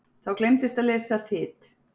Þá gleymdist að lesa Þyt.